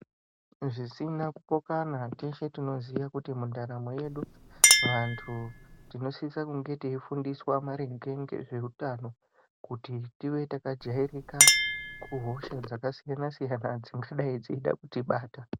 Zvisina kupokana teshe tinoziya kuti mundaramo yedu vantu tinosisa kunge teifundiswa maringe ngezveutano. Kuti tive takajairika kuhosha dzakasiyana siyana dzingadai dzeida kutibata.